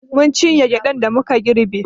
Mun cinye gyaɗan da muka girbe.